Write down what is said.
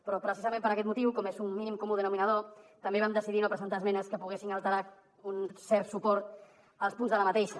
però precisament per aquest motiu com que és un mínim comú denominador també vam decidir no presentar esmenes que poguessin alterar un cert suport als punts d’aquesta